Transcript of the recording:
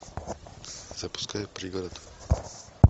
запускай пригород